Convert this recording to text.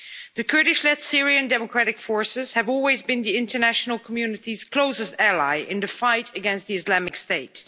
The Kurdish led Syrian Democratic Forces have always been the international community's closest ally in the fight against Islamic State.